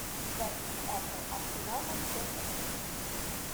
запись апл арсенал манчестер сити